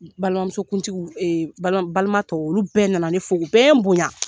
Balimamusokuntigiw balima tɔw, olu bɛɛ nana ne fo u bɛɛ ye bonya.